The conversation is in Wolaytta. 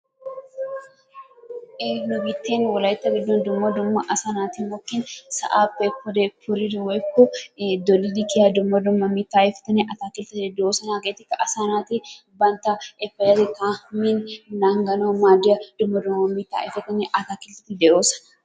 nu biitten wolaytta biitten asaa naati mokkin sa'aappe pude puridi woykko doliddi kiyyiyaa dumma dumma mittaa ayfetinne atakiltteti de'oosona. hegetikka asaa naati banttaa payatettaa min nangganaw maaddiyaa dumma dumma mitta ayfetinne atakiltteti de'oosona.